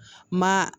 Ma